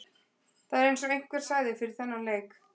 Það er eins og einhver sagði fyrir þennan leik.